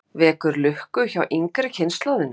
Guðrún Heimisdóttir: Vekur lukku hjá yngri kynslóðinni?